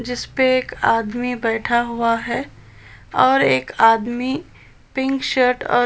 जिसपे एक आदमी बैठा हुआ है और एक आदमी पिंक शर्ट और --